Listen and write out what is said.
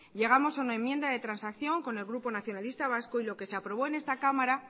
llegamos a una enmienda de transacción con el grupo nacionalistas vascos y lo que se aprobó en esta cámara